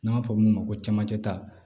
N'an b'a fɔ olu ma ko camancɛ ta